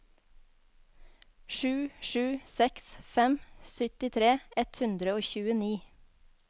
sju sju seks fem syttitre ett hundre og tjueni